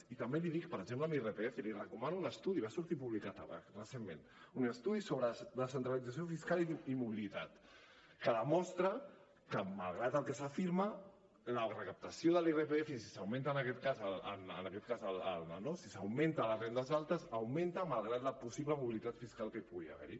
i també l’hi dic per exemple en irpf li recomano un estudi va sortir publicat recentment sobre descentralització fiscal i mobilitat que demostra que malgrat el que s’afirma la recaptació de l’irpf si s’augmenta en aquest cas a les rendes altes augmenta malgrat la possible mobilitat fiscal que pugui haver hi